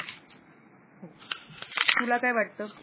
तुला काय वाटत?